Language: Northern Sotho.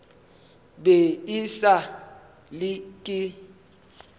be e sa le ke